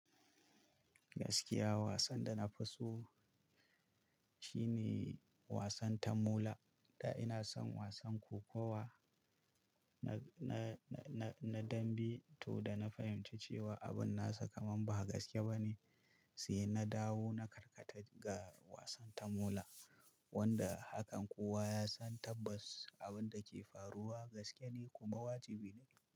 Gaskiya wasan da na fi so shine wasan tamola. Da ina son wasan kokowa na, na, na, na, na dambe toh da na fahimci cewa abin nasa kamar ba gaske ba ne, sai na dawo na karkata ga wasan tamola wanda hakan kowa ya san tabbas abin da ke faruwa gaske ne kuma wajibi ne.